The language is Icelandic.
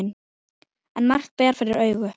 En margt bar fyrir augu.